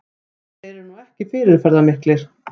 Þeir eru nú ekki fyrirferðarmiklir